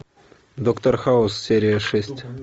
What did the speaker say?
доктор хаус серия шесть